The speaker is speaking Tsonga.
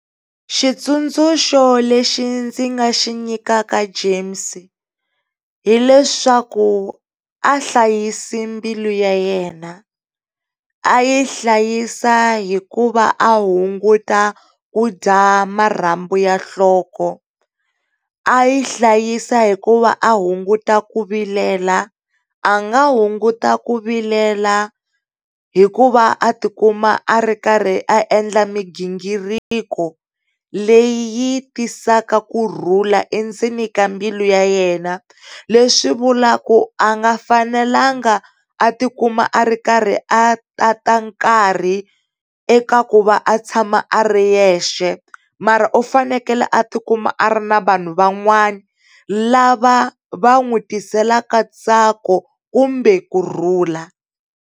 Xitsundzuxo lexi ndzi nga xi nyikaka James hileswaku a hlayisi mbilu ya yena. A yi hlayisa hikuva a hunguta kudya marhambu ya nhloko, a yi hlayisa hikuva a hunguta ku vilela. A nga hunguta ku vilela hikuva a tikuma a ri karhi a endla mighingiriko leyi yi tisaka kurhula endzeni ka mbilu ya yena. Leswi swivulaku a nga fanelanga a ti kuma a ri karhi a tata nkarhi eka ku va a tshama a ri yexe, ma ra u fanekele a tikuma a ri na vanhu van'wani lava va n'wi tiselaka ntsako kumbe kurhula.